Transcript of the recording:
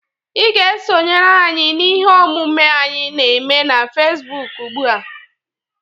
Ị ga-esonyere anyị n'ihe omume anyị n'eme na Fesbụk ugbụa!